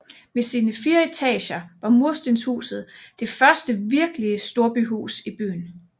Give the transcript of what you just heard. Med sine fire etager var murstenshuset det første virkelige storbyhus i byen